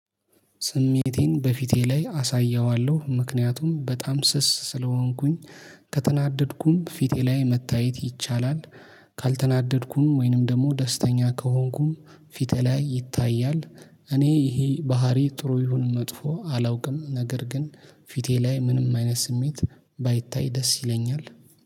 ስሜቴን በፊቴ ላይ አሳየዋለሁ ምክንያቱም በጣም ስስ ስለሆንኩኝ። ከተናደድኩም ፊቴ ላይ መታየት ይቻላል። ካልተናደድኩም ወይንም ደግሞ ደስተኛ ከሆንኩም ፊቴ ላይ ይታያል። እኔ ይሄ ባህሪ ጥሩ ይሁን መጥፎ አላውቅም። ነገር ግን ፊቴ ላይ ምንም አይነት ስሜት ባይታይ ደስ ይለኛል።